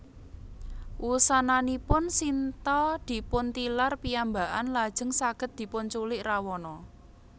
Wusananipun Sinta dipuntilar piyambakan lajeng saged dipunculik Rawana